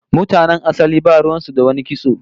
Mutanen asali ba ruwan su da wani kitso